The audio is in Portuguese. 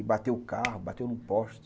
E bateu o carro, bateu no poste.